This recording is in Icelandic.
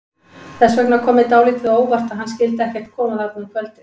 Þess vegna kom mér dálítið á óvart að hann skyldi ekkert koma þarna um kvöldið.